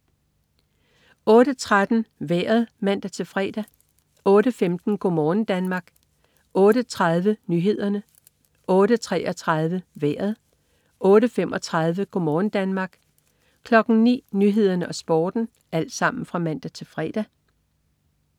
08.13 Vejret (man-fre) 08.15 Go' morgen Danmark (man-fre) 08.30 Nyhederne (man-fre) 08.33 Vejret (man-fre) 08.35 Go' morgen Danmark (man-fre) 09.00 Nyhederne og Sporten (man-fre)